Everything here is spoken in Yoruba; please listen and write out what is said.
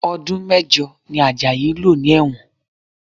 Ọdún mẹ́jọ ni Ajayi lò ní ẹ̀wọ̀n